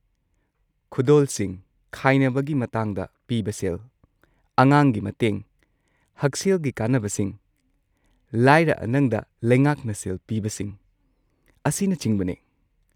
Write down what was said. ꯈꯨꯗꯣꯜꯁꯤꯡ, ꯈꯥꯏꯅꯕꯒꯤ ꯃꯇꯥꯡꯗ ꯄꯤꯕ ꯁꯦꯜ, ꯑꯉꯥꯡꯒꯤ ꯃꯇꯦꯡ, ꯍꯛꯁꯦꯜꯒꯤ ꯀꯥꯟꯅꯕꯁꯤꯡ, ꯂꯥꯏꯔ-ꯑꯅꯪꯗ ꯂꯩꯉꯥꯛꯅ ꯁꯦꯜ ꯄꯤꯕꯁꯤꯡ, ꯑꯁꯤꯅꯆꯤꯡꯕꯅꯤ꯫